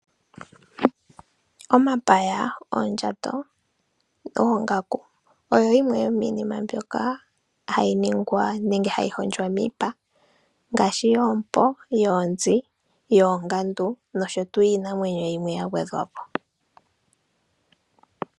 Omapaya, oondjato, oongaku oyo yimwe yomiinima mbyoka hayi ningwa nenge hondjwa miipa ngaashi yoompo, yoonzi, yoongandu nosho tuu.